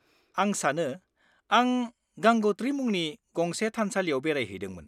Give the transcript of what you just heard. -आं सानो आं गंगोत्री मुंनि गंसे थानसालियाव बेरायहैदोंमोन।